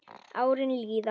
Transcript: Árin líða.